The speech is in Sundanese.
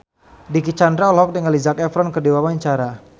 Dicky Chandra olohok ningali Zac Efron keur diwawancara